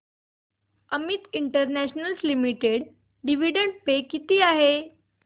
Amit international limited dividend pay किती आहे